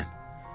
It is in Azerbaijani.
Mənəm.